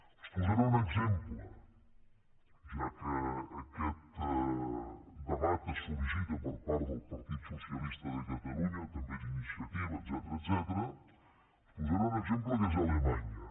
els en posaré un exemple ja que aquest debat es sollicita per part del partit socialista de catalunya també d’iniciativa etcètera que és alemanya